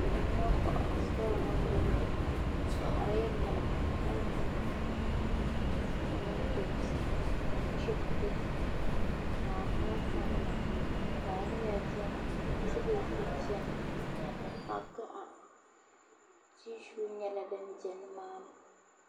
nema kohibu sitɔɣu ni m-bɔŋɔ bɛ kohirila miliki ni tintomantoonsi ni chibiti ni alibalisanima taaliya beni kabɛji beni ni kpa' gaɣa tishiyu nyɛla din be ni maa ni